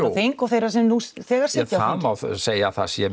á þing og þeirra sem nú þegar sitja það má segja að það sé